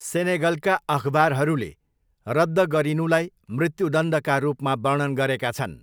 सेनेगलका अखबारहरूले रद्द गरिनुलाई मृत्युदण्डका रूपमा वर्णन गरेका छन्।